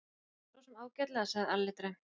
Sosum ágætlega, sagði Alli dræmt.